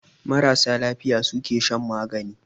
Marasa lafiya ne suke shan magani